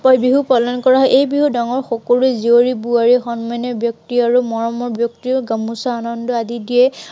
বহাগ বিহু পালন কৰা হয়। এই বিহু ডাঙৰ সকলো, জীয়ৰী বোৱাৰী, সন্মানীয় ব্য়ক্তি, আৰু মৰমৰ ব্য়ক্তিও গামোচা আনন্দ আদি দিয়ে।